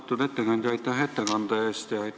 Austatud ettekandja, aitäh ettekande eest!